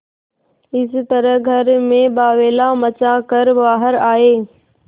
इस तरह घर में बावैला मचा कर बाहर आये